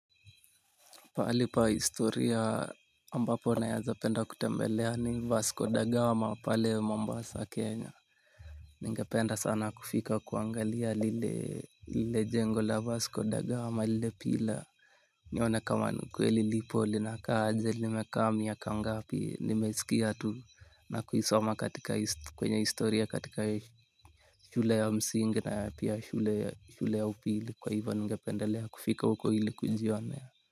Pahali pa historia ambapo naeza penda kutembelea ni Vasco da Gama pale Mombasa Kenya. Ningependa sana kufika kuangalia lile jengo la Vasco da Gama lile pila. Nione kama ni ukweli lipo linaka aje nimekaa miaka ngapi nimesikia tu na kuisoma katika kwenye historia katika shule ya msingi na pia shule ya upili kwa hivo ningependelea kufika uko ili kujionea.